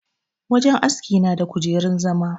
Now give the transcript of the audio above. Wajen aski na da kujerun zama.